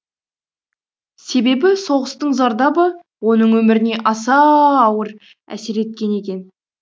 себебі соғыстың зардабы оның өміріне аса ауыр әсер еткен екен